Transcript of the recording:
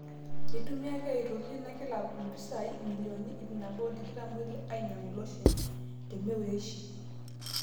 Eitumia ake ina kilab aitoki mpisai milionini 126 ainyang'u loshen te merrueshi.